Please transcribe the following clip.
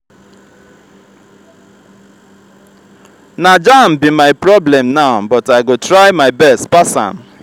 na jamb be my problem now but i go try my best pass am.